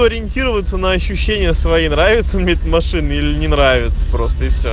ориентироваться на ощущение своей нравится мыть машины или не нравится просто всё